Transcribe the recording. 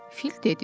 Fil dedi.